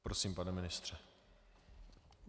Prosím, pane ministře.